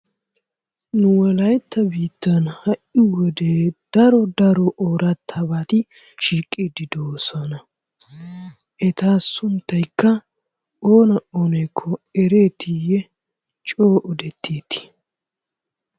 Nu wolaytta biittan ha'i wode daro daro oorattabati shiiqiiddi doosona. Eta sunttaykka oona oonakko ereetiiyye coo odetteeti?